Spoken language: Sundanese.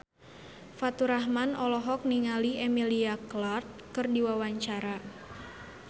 Faturrahman olohok ningali Emilia Clarke keur diwawancara